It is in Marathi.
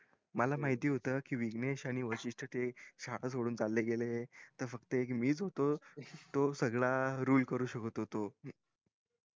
मला माहित होत कि विघणेश कि हे शाळा सोडून चले गेले त फक्त मी च होतो तो सगळा rule करू शकत होतो